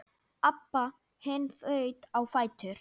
Abba hin þaut á fætur.